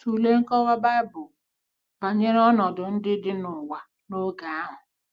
Tụlee nkọwa Bible banyere ọnọdụ ndị dị n’ụwa n’oge ahụ: